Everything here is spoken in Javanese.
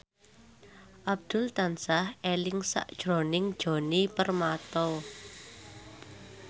Abdul tansah eling sakjroning Djoni Permato